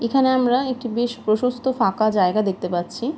এই খানে আমরা বেশ প্রশস্ত ফাঁকা জায়গা দেখতে পাচ্ছি |